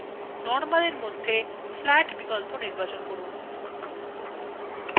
preview windowএ দেখে নিন বসতুটি কমন দেখতে লাগছে